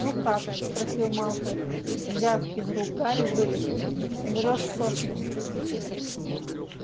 ну как спросил малфой взяв из рук гарри вырезку умрёшь со смеху